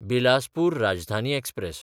Bilaspur Rajdhani express